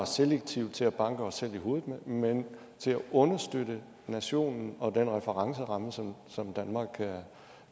selektivt til at banke os selv i hovedet med men til at understøtte nationen og den referenceramme som som danmark